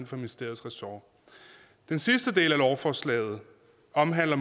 for ministeriets ressort den sidste del af lovforslaget omhandler